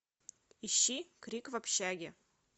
ищи крик в общаге